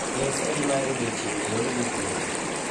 en saa adi mar odiechieng ' e yor ugwe?